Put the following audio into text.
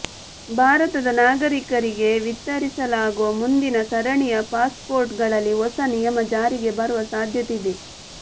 ಭಾರತದ ನಾಗರಿಕರಿಗೆ ವಿತರಿಸಲಾಗುವ ಮುಂದಿನ ಸರಣಿಯ ಪಾಸ್ಪೋರ್ಟ್ ಗಳಲ್ಲಿ ಹೊಸ ನಿಯಮ ಜಾರಿಗೆ ಬರುವ ಸಾಧ್ಯತೆ ಇದೆ